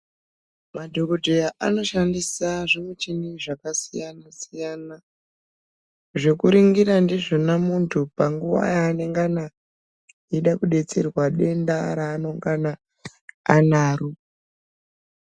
Madhokodheya anoshandisa zvimuchini zvakasiyana-siyana, zvekuringira ndizvona muntu panguwa yaanenge eida kudetserwa denda raanenge anaro.